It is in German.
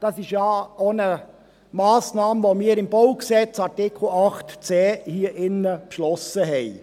Dies ist ja auch eine Massnahme, welche wir im Baugesetz (BauG), Artikel 8c, hier drin beschlossen hatten.